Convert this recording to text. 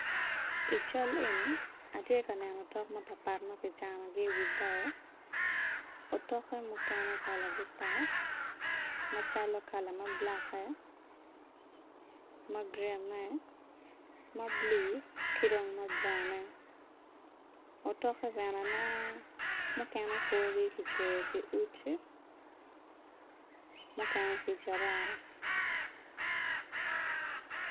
I cal eni atye ka otok mapatpat ma kicanogi i wi bao otokke mukene kalagi pat macalo kala ma bulakke ma gurinne ma bulu ki dong ma buraune otokke bene aneno mukene korgi kicweyo ki uci mukene ki jarara